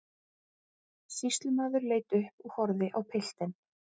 Sýslumaður leit upp og horfði á piltinn.